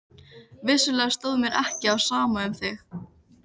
Vissulega stóð mér ekki á sama um þig.